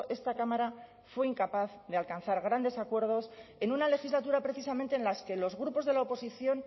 esta cámara fue incapaz de alcanzar grandes acuerdos en una legislatura precisamente en las que los grupos de la oposición